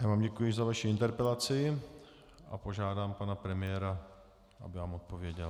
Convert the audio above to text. Já vám děkuji za vaši interpelaci a požádám pana premiéra, aby vám odpověděl.